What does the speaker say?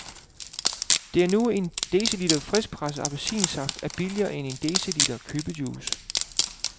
Det er nu en deciliter friskpresset appelsinsaft er billigere end en deciliter købejuice.